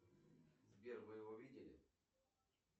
сбер вы его видели